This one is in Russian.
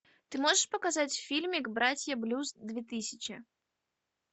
ты можешь показать фильмик братья блюз две тысячи